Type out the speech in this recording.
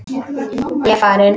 Ég er farinn!